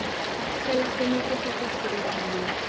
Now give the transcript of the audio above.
fela go netefatsa gore dilo